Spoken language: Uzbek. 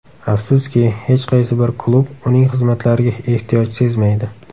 Afsuski, hech qaysi bir klub uning xizmatlariga ehtiyoj sezmaydi.